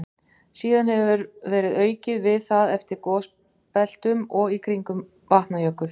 Síðan hefur verið aukið við það eftir gosbeltunum og í kringum Vatnajökul.